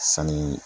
Sanni